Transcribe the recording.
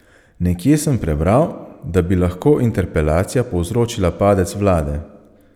Nekje sem prebral, da bi lahko interpelacija povzročila padec vlade.